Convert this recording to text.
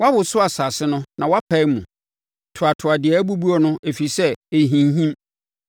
Woawoso asase no na woapae mu; toatoa deɛ abubuo no, ɛfiri sɛ, ɛrehinhim.